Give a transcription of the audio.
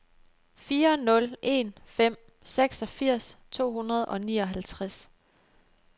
fire nul en fem seksogfirs to hundrede og nioghalvtreds